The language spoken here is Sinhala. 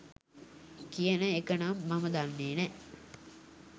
කියන එක නම් මං දන්නෙ නෑ.